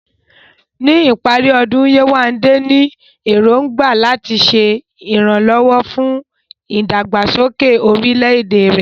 Ní ìparí ọdún, Yewande ní èrògbà láti ṣe ìrànwọ́ fún ìdàgbàsókè orílẹ̀-èdè rẹ̀.